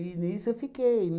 nisso eu fiquei.